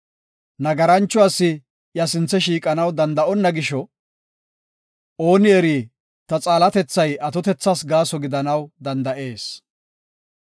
Nagarancho asi iya sinthe shiiqanaw danda7onna gisho; ooni eri ta xaalatethay atotethas gaaso gidanaw danda7ees.